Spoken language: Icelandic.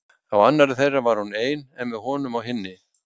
Á annarri þeirra var hún ein en með honum á hinni.